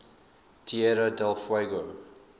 tierra del fuego